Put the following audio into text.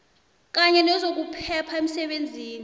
kanye nezokuphepha emsebenzini